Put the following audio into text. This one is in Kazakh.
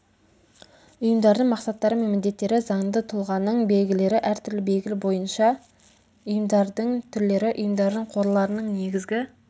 ұйымдардың мақсаттары мен міндеттері заңды тұлғаның белгілері әртүрлі белгі бойынша ұйымдардың түрлері ұйымдардың қорларының негізгі